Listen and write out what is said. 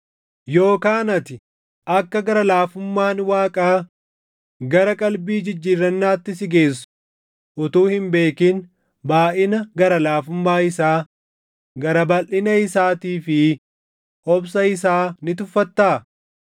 Yookaan ati akka gara laafummaan Waaqaa gara qalbii jijjiirrannaatti si geessu utuu hin beekin baayʼina gara laafummaa isaa, gara balʼina isaatii fi obsa isaa ni tuffattaa?